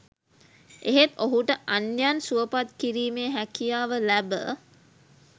එහෙත් ඔහුට අන්‍යයන් සුවපත් කිරීමේ හැකියාව ලැබ